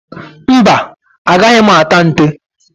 Mba, agaghị m ata nte.